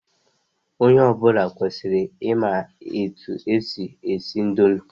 Onye ọbụla kwesịrị ị ma etu e si esi indomi.